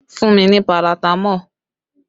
Fún mi ní paratamọ́ọ̀!